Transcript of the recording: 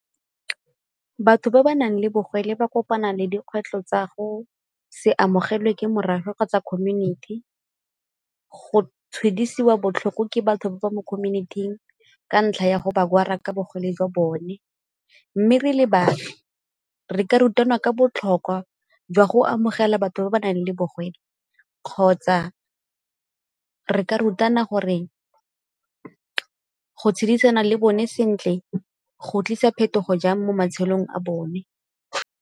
Batho ba ba nang le bogole ba kopana le dikgwetlho tsa go se amogelwe ke morafe kgotsa community, go tshwedisiwa botlhoko ke batho ba ba mo community-ing ka ntlha ya go ba ka bogole jwa bone. Mme re le baagi re ka rutana ka botlhokwa jwa go amogela batho ba ba nang le bogole kgotsa re ka rutana gore go tshedisana le bone sentle go tlisa phetogo jang mo matshelong a bone.